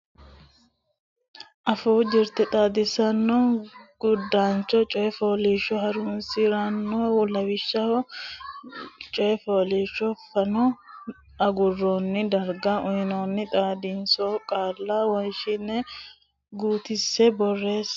Afuu Jirte Xaadisaano Gurdaancho Coy fooliishsho Horonsi ra noo lawishsha la ine coy fooliishsho fano agurroonni darga uynoonni xadisaano qaalla wonshatenn guutissine borreesse.